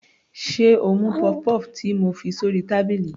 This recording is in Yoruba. Sé o mú puff-puff ti mo fi sórí tábìlì.